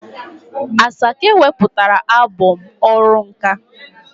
Asake weputara albọm "ọrụ nka'.